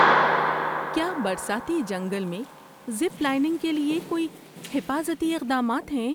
کیا برساتی جنگل میں زپ لائننگ کے لیے کوئی حفاظتی اقدامات ہیں؟